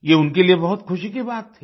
ये उनके लिए बहुत ख़ुशी की बात थी